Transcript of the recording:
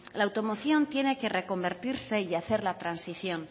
la automoción tiene que reconvertirse y hacer la transición